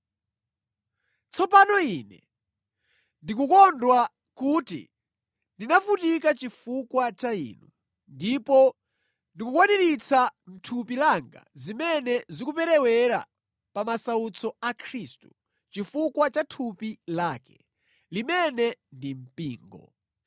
Tsopano ine ndikukondwa kuti ndinavutika chifukwa cha inu, ndipo ndikukwaniritsa mʼthupi langa zimene zikuperewera pa masautso a Khristu, chifukwa cha thupi lake, limene ndi Mpingo.